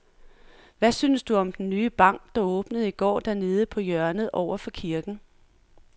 Hvad synes du om den nye bank, der åbnede i går dernede på hjørnet over for kirken?